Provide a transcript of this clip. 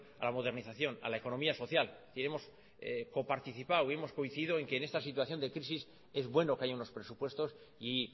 a la modernización a la economía social y hemos coparticipado y hemos coincidido en que en esta situación de crisis es bueno que haya unos presupuestos y